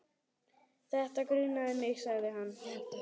Þetta grunaði mig sagði hann.